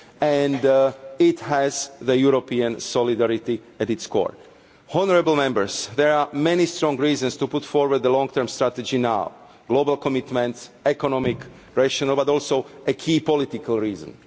jobs, and it has European solidarity at its core. Honourable Members, there are many strong reasons to put forward the long term strategy now global commitments, economic rationale, but also a key political reason.